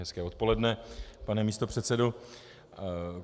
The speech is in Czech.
Hezké odpoledne pane místopředsedo.